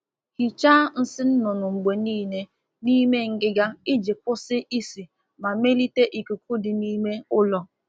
Saa nsị n'ime akpa ígwè mgbe niile ka isi ísì kwụsị na ka ikuku dị mma n'ime ụlọ.